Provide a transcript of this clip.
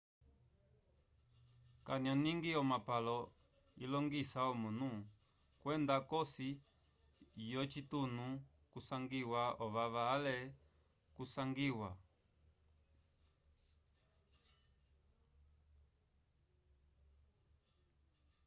kanyoning omapalo ilongisa omunu okwenda k'osi yocitunu kusangiwa ovava ale kakusangiwa